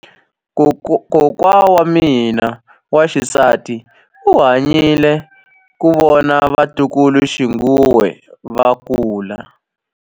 Kokwa wa mina wa xisati u hanyile ku vona vatukuluxinghuwe va kula.